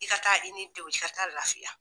I ka taa i ni denw, i ka taa lafiya.